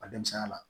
Ka denmisɛnya la